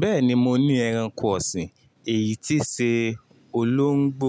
Bẹ́ẹ̀ni mo ní ẹranko ọ̀sìn, èyí tí ṣe olóńgbò.